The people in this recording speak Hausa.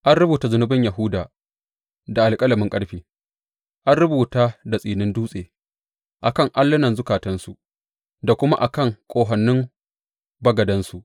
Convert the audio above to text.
An rubuta zunubin Yahuda da alƙalamin ƙarfe, an rubuta da tsinin dutse, a kan allunan zukatansu da kuma a kan ƙahonin bagadansu.